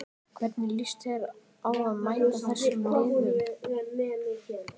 Hvernig líst þér á að mæta þessum liðum?